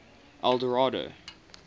eldorado